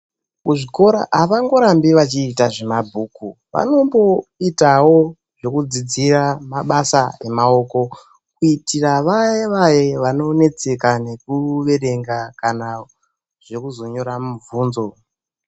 Muzvikora avangorambi vachiita zvemabhuku, vanomboitawo zvekudzidzira mabasa emaoko, kuitira vaye vaye vanonetseka nekuverenga kana zvekuzonyora mubvunzo.